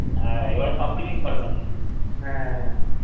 হ্যাঁ এবার সবকিছুই informative